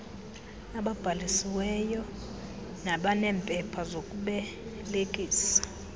ababhalisiweyo nabaneempepha zokubelekisa